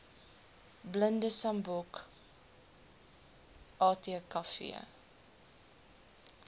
blinde sambok atkv